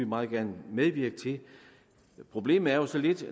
meget gerne medvirke til problemet er jo så lidt